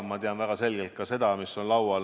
Ma tean väga selgelt ka seda, mis on laual.